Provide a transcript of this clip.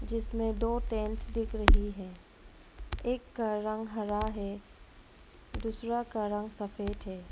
जिसमें दो टेंट दिख रही हैं एक का रंग हरा है दूसरा का रंग सफेद है।